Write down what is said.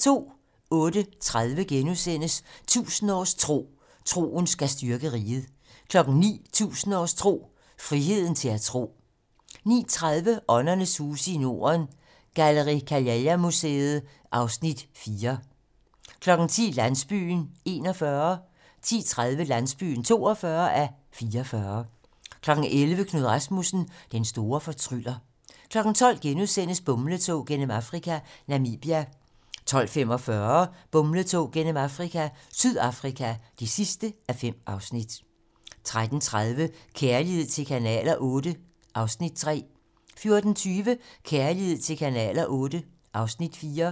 08:30: 1000 års tro: Troen skal styrke riget * 09:00: 1000 års tro: Friheden til at tro 09:30: Åndernes huse i Norden - Gallen-Kallela Museet (Afs. 4) 10:00: Landsbyen (41:44) 10:30: Landsbyen (42:44) 11:00: Knud Rasmussen - den store fortryller 12:00: Bumletog gennem Afrika - Namibia (4:5)* 12:45: Bumletog gennem Afrika - Sydafrika (5:5) 13:30: Kærlighed til kanaler VIII (Afs. 3) 14:20: Kærlighed til kanaler VIII (Afs. 4)